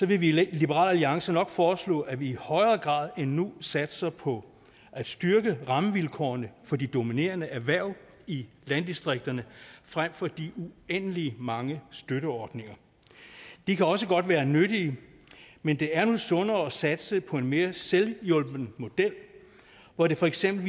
vil vi i liberal alliance nok foreslå at vi i højere grad end nu satser på at styrke rammevilkårene for de dominerende erhverv i landdistrikterne frem for de uendelig mange støtteordninger de kan også godt være nyttige men det er nu sundere at satse på en mere selvhjulpen model hvor det for eksempel